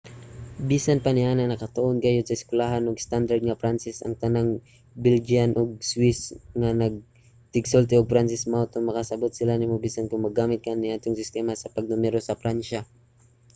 bisan pa niana nakatuon gayod sa eskuwelahan og estandard nga pranses ang tanang belgian ug swiss nga tigsulti og pranses mao nga makasabot sila nimo bisan kon maggamit ka sa naandang sistema sa pagnumero sa pransya